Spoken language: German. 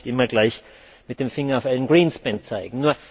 Man muss nicht immer gleich mit dem Finger auf Alan Greenspan zeigen.